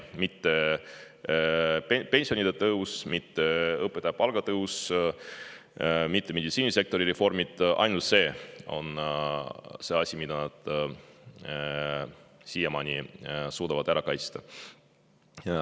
Mitte pensionide tõus, mitte õpetajate palga tõus, mitte meditsiinisektori reformid, vaid ainult see on see asi, mida nad siiamaani on suutnud ära kaitsta.